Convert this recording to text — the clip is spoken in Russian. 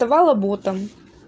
давала ботам